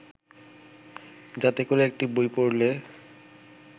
যাতে করে একটি বই পড়লে